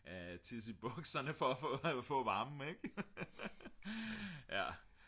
at tisse i bukserne for at få varmen ik